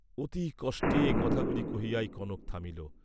অতি কষ্টে এ কথাগুলি কহিয়াই কনক থামিল।